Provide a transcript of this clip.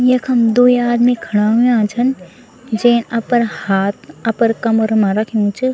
यखम द्वी आदमी खड़ा हुंया छन जे अपर हाथ अपर कमर मा रख्यूं च।